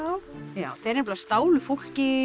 já þeir stálu fólki